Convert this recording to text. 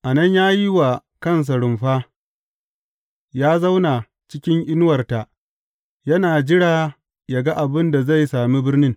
A nan ya yi wa kansa rumfa, ya zauna cikin inuwarta yana jira yă ga abin da zai sami birnin.